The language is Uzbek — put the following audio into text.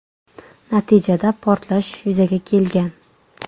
Natijada portlash yuzaga kelgan.